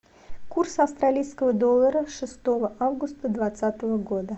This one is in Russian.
курс австралийского доллара шестого августа двадцатого года